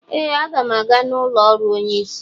Ee, a ga m aga n'ụlọ ọrụ onye isi